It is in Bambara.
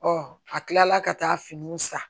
a kila la ka taa finiw san